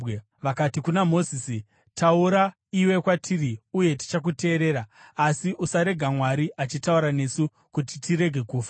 vakati kuna Mozisi, “Taura iwe kwatiri uye tichakuteerera. Asi usarega Mwari achitaura nesu, kuti tirege kufa.”